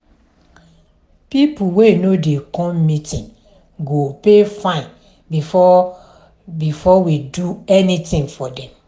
people wey no dey come meeting go pay fine before before we do anything for dem.